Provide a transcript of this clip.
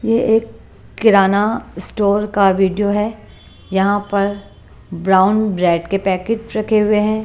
ये एक किराना स्टोर का वीडियो है यहां पर ब्राउन ब्रेड के पैकेट रखे हुए हैं।